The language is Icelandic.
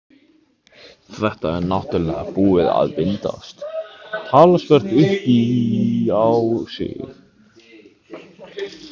Þetta er náttúrlega búið að vinda talsvert upp á sig.